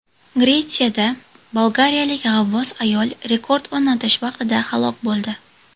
Gretsiyada bolgariyalik g‘avvos ayol rekord o‘rnatish vaqtida halok bo‘ldi.